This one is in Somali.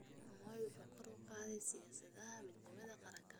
Moi wuxuu kor u qaaday siyaasadaha midnimada qaranka.